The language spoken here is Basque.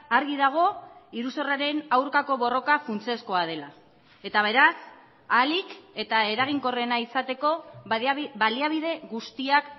argi dago iruzurraren aurkako borroka funtsezkoa dela eta beraz ahalik eta eraginkorrena izateko baliabide guztiak